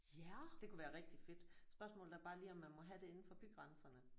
Det kunne være rigtig fedt spørgsmålet er bare lige om man må have det indenfor bygrænserne